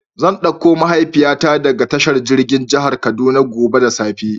Zan ɗauko mahaifiya ta daga tashar jirgin jihar kaduna gobe da safe.